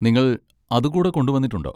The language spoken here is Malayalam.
നിങ്ങൾ അത് കൂടെ കൊണ്ടുവന്നിട്ടുണ്ടോ?